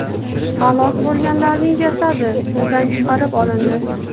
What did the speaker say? Halok bo‘lganlarning jasadi suvdan chiqarib olindi.